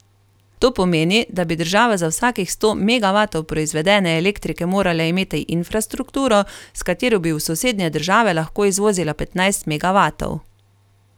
To pomeni, da bi država za vsakih sto megavatov proizvedene elektrike morala imeti infrastrukturo, s katero bi v sosednje države lahko izvozila petnajst megavatov.